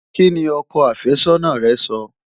Kí ni ọkọ àfẹ́sọ́nà rẹ́ sọ?